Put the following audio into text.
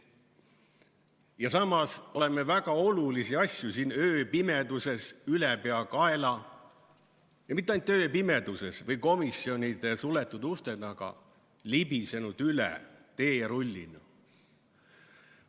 Ja samas oleme väga olulistest asjadest siin ööpimeduses ülepeakaela – ja mitte ainult ööpimeduses või komisjonide suletud uste taga – libisenud üle teerullina.